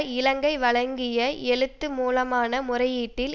இலங்கை வழங்கிய எழுத்து மூலமான முறையீட்டில்